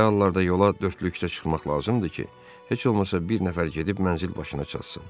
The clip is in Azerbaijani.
Belə hallarda yola dördlükdə çıxmaq lazımdır ki, heç olmasa bir nəfər gedib mənzil başına çatsın.